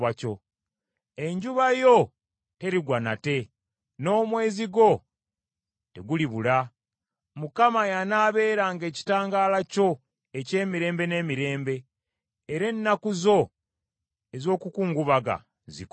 Enjuba yo terigwa nate, n’omwezi gwo tegulibula; Mukama y’anaabeeranga ekitangaala kyo eky’emirembe n’emirembe era ennaku zo ez’okukungubanga zikome.